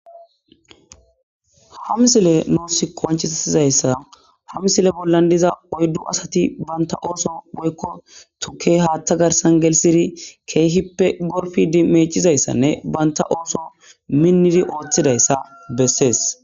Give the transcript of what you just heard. Ha misile noossi konchiizayssa ha misile bollan diza oyddu asati banta ooso boykko tuke haaththa garsan gelisiri keehippe gorfidi meecizayssanne banta ooso minnidi ooththidayssa bessees.